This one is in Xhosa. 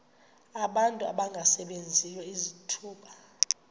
abantu abangasebenziyo izithuba